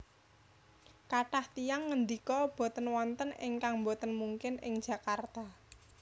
Kathah tiyang ngendika boten wonten ingkang boten mungkin ing Jakarta